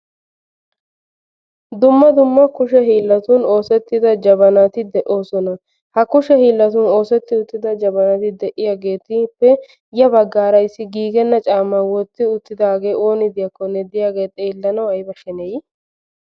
Dumma dumma kushe hiilatun oosettida jabanati de'oosona. Ha kushe hiillatun oosetti uttida jabanati de'iyaageetuppe ya baggaara issi giigenna caamma wotti uttidaage ooni diyaakkonne de'iyaage xeellanaw ayba sheneyi!